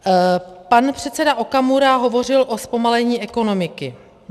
Pan předseda Okamura hovořil o zpomalení ekonomiky.